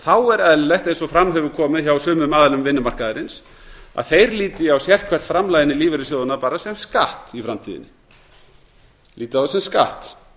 þá er eðlilegt eins og fram hefur komið hjá sumum aðilum vinnumarkaðarins að þeir líti á sérhvert framlag inn í lífeyrissjóðina bara sem skatt í framtíðinni líti á það sem skatt